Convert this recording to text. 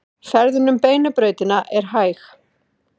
Ferðin um Beinu brautina er hæg